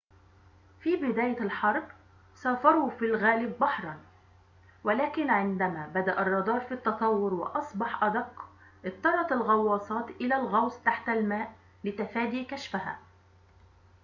في بداية الحرب سافروا في الغالب بحرًا ولكن عندما بدأ الرادار في التطور وأصبح أدق اضطرت الغواصات إلى الغوص تحت الماء لتفادي كشفها